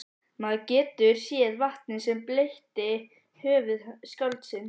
Maður getur séð vatnið sem bleytti höfuð skáldsins.